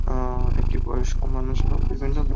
আ একটি বয়স্ক মানুষ এবং বিভিন্ন লোক --